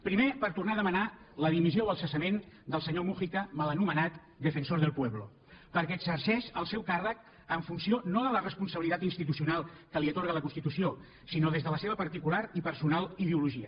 primer per tornar a demanar la dimissió o el cessament del senyor mújica mal anomenat defensor del pueblo perquè exerceix el seu càrrec en funció no de la responsabilitat institucional que li atorga la constitució sinó des de la seva particular i personal ideologia